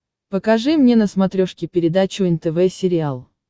покажи мне на смотрешке передачу нтв сериал